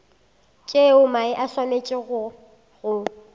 tšeo mae a swanetšego go